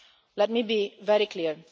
Let me be very clear.